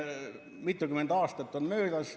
Mitukümmend aastat on möödas ...